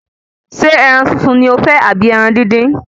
Ṣé ẹran sísun ni o fẹ́ àbí ẹran dín dín?